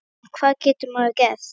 En hvað getur maður gert?